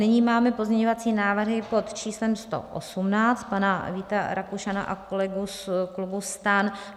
Nyní máme pozměňovací návrhy pod číslem 118 pana Víta Rakušana a kolegů z klubu STAN.